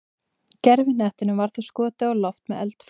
gervihnettinum var þá skotið á loft með eldflaug